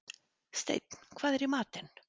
Steinn, hvað er í matinn?